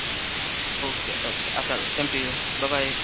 okay okay আপনারও same to you, bye bye.